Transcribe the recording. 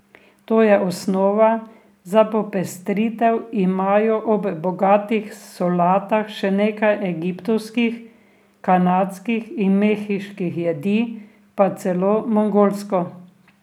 To je osnova, za popestritev imajo ob bogatih solatah še nekaj egiptovskih, kanadskih in mehiških jedi, pa celo mongolsko.